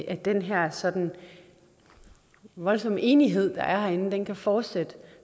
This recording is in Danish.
at den her sådan voldsomme enighed der er herinde kan fortsætte